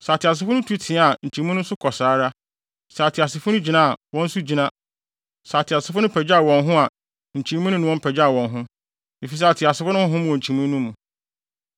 Sɛ ateasefo no tu teɛ a nkyimii no nso kɔ saa ara; sɛ ateasefo no gyina a, wɔn nso gyina; sɛ ateasefo no pagyaw wɔn ho a nkyimii no ne wɔn pagyaw wɔn ho, efisɛ ateasefo no honhom wɔ nkyimii no mu.